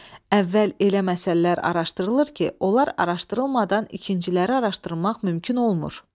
Əvvəl elə məsələlər araşdırılır ki, onlar araşdırılmadan ikinciləri araşdırmaq mümkün olmur.